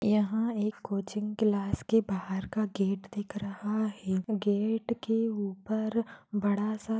यहा एक coaching class के बाहर का गेट दिख रहा है। गेट के उपर बड़ा सा--